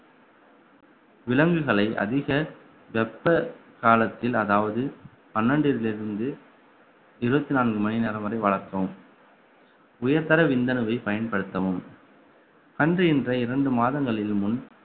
விலங்குகளை அதிக வெப்ப காலத்தில் அதாவது பன்னிரெண்டில் இருந்து இருபத்தி நான்கு மணி நேரம் வரை வளர்த்தவும் உயர்தர விந்தணுவை பயன்படுத்தவும் அன்று இந்த இரண்டு மாதங்களில் முன்